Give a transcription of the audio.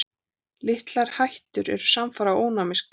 Litlar hættur eru samfara ónæmisaðgerðum.